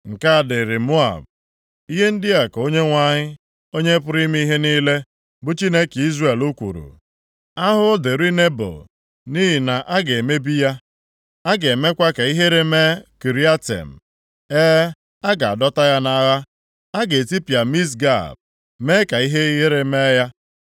Nke a dịrị Moab: Ihe ndị a ka Onyenwe anyị, Onye pụrụ ime ihe niile, bụ Chineke Izrel kwuru, “Ahụhụ dịrị Nebo! Nʼihi na a ga-emebi ya. A ga-emekwa ka ihere mee Kiriatem, e, a ga-adọta ya nʼagha. A ga-etipịa Misgab, mee ka ihere mee ya.